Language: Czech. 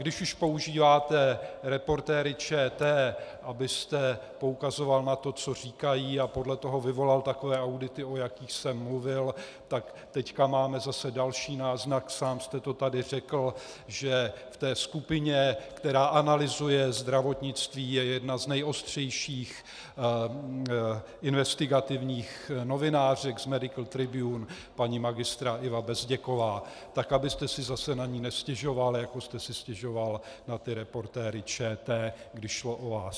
Když už používáte Reportéry ČT, abyste poukazoval na to, co říkají, a podle toho vyvolal takové audity, o jakých jsem mluvil, tak teď máme zase další náznak, sám jste to tady řekl, že v té skupině, která analyzuje zdravotnictví, je jedna z nejostřejších investigativních novinářek z Medical Tribune, paní magistra Iva Bezděková, tak abyste si zase na ni nestěžoval, jako jste si stěžoval na ty Reportéry ČT, když šlo o vás.